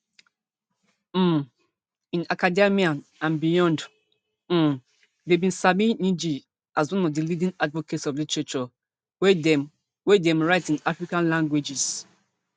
um in academia and beyond um dem bin sabi ngg as one of di leading advocates of literature wey dem wey dem write in african languages